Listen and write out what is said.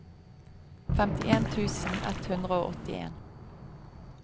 femtien tusen ett hundre og åttien